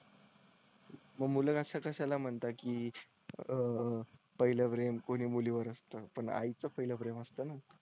मुलं असा कशाला म्हणता की आह पहिलं प्रेम कोणी मुली वर असतं पण आई चं पहिलं प्रेम असतं.